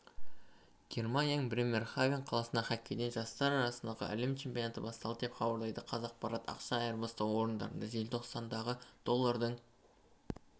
германияның бремерхафен қаласында хоккейден жастар арасындағы әлем чемпионаты басталды деп хабарлайды қазақпарат ақша айырбастау орындарында желтоқсандағыдоллардың